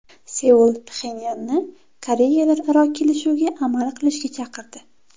Seul Pxenyanni Koreyalararo kelishuvga amal qilishga chaqirdi.